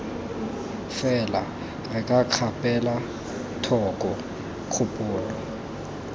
fela re kgapela thoko kgopolo